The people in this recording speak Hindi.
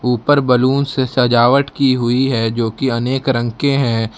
ऊपर बैलून से सजावट की हुई है जो की अनेक रंग के हैं।